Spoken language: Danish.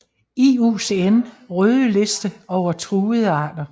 IUCN røde liste over truede arter